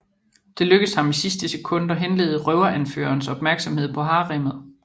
Det lykkes ham i sidste sekund at henlede røveranførerens opmærksomhed på haremmet